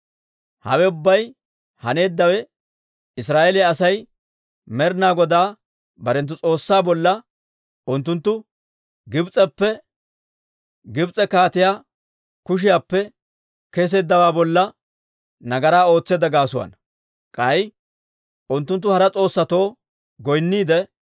Hawe ubbay haneeddawe, Israa'eeliyaa Asay Med'ina Godaa barenttu S'oossaa bolla, unttunttu Gibs'eppe, Gibs'e kaatiyaa kushiyaappe kesseeddawaa bolla nagaraa ootseedda gaasuwaana. K'ay unttunttu hara s'oossatoo goynniide,